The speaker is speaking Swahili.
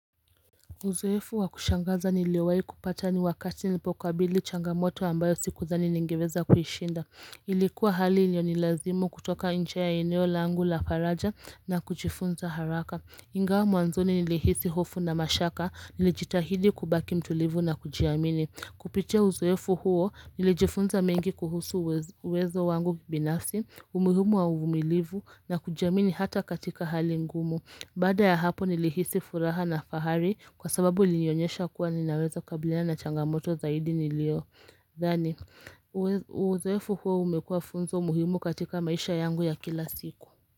Uzoefu wa kushangaza niliwahi kupata ni wakati nilipokabili changamoto ambayo sikudhani ningeweza kuishinda. Ilikuwa hali iliyonilazimu kutoka nje ya eneo langu la faraja na kujifunza haraka. Ingawa mwanzoni nilihisi hofu na mashaka nilijitahidi kubaki mtulivu na kujiamini. Kupitia uzoefu huo nilijifunza mengi kuhusu uwezo wangu binafsi, umuhimu wa uvumilivu na kujiamini hata katika hali ngumu. Baada ya hapo nilihisi furaha na fahari kwa sababu ilinionyesha kuwa ninaweza kukabilina na changamoto zaidi niliyo. Dhani, uzoefu huo umekua funzo muhimu katika maisha yangu ya kila siku.